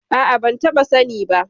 A'a, ban taɓa sani ba.